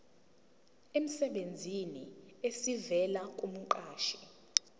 emsebenzini esivela kumqashi